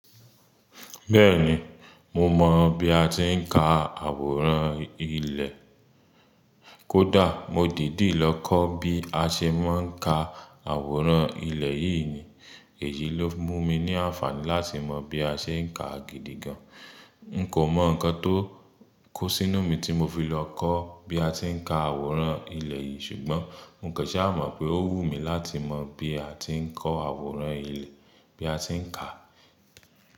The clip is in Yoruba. Bẹ́ẹ̀ni, mo mọ̀ bí a ti ń ka àwòrán ilẹ̀. Kódà mo dìdí lọ kọ́ bí a ṣe máà ń ka àwòrán ilẹ̀ yìí ni. Èyí ló mú mi ní àǹfààní láti mọ̀ bí a ṣe ń ka gidi gan. N kò mọ̀ ǹkan tó kó sínú mi tí mo fi lọ kọ́ bí a ti ń ka àwòrán ilẹ̀ yìí ṣùgbọ́n n kẹ̀ṣẹ́ à mọ̀ pé ó wù mí láti mọ̀ bí a ti ń kọ́ àwòrán ilẹ̀, bí a ti ń ka.